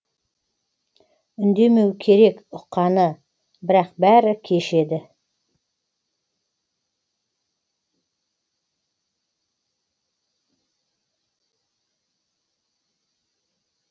үндемеу керек ұққаны бірақ бәрі кеш еді